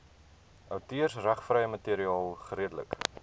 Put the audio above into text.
outeursregvrye materiaal geredelik